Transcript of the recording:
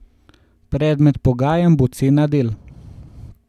Predmet pogajanj bo cena del.